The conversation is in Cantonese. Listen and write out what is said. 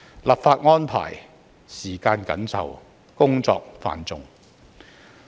立法安排時間緊湊，工作繁重。